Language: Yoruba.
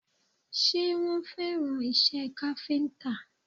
Ṣé wọ́n fẹ́ràn isẹ́ káfíntà?